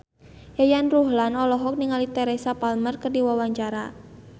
Yayan Ruhlan olohok ningali Teresa Palmer keur diwawancara